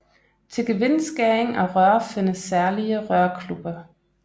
Til gevindskæring af rør findes særlige rørkluppe